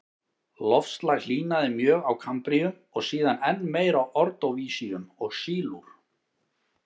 Loftslag hlýnaði mjög á kambríum og síðan enn meir á ordóvísíum og sílúr.